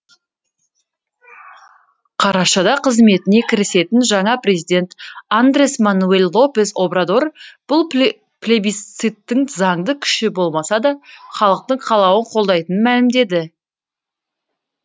қарашада қызметіне кірісетін жаңа президент андрес мануэль лопес обрадор бұл плебисциттің заңды күші болмаса да халықтың қалауын қолдайтынын мәлімдеді